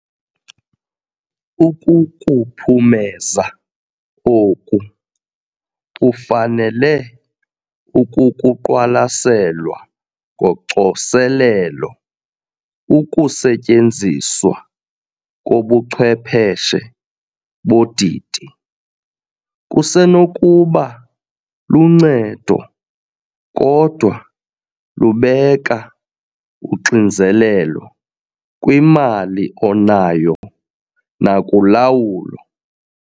Ukukuphumeza oku, ufanele ukukuqwalaselwa ngocoselelo ukusetyenziswa kobuchwepheshe bodidi - kusenokuba luncedo kodwa lubeka uxinzelelo kwimali onayo nakulawulo.